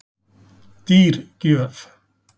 Dýr gjöf